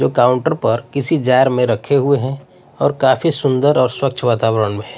जो काउंटर पर किसी जार में रखे हुए हैं और काफी सुंदर और स्वच्छ वातावरण में हैं।